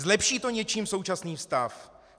Zlepší to něčím současný stav?